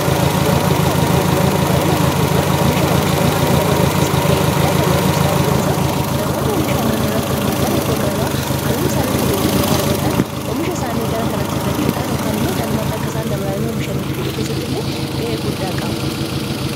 dhunkaanota annan gurguran dunkaroon annan gurguran oomisha oomishitummaa annan dabaluu keessatti ga'ee guddaa tabatu sababeen isaas namoonni oomisha annan irratti hirmaatan iddoo gabaa anan isaanitti gurguraasanii wargatan oomisha isaanii gara kanati fidachuudhaan okaan imoo caalumaaxa akka isan dabalanii omishan gudhu keessatti illee ga'ee guddaa qaba